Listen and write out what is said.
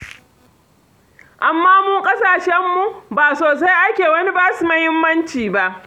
Amma mu a ƙasashenmu, ba sosai ake wani ba su muhimmanci ba.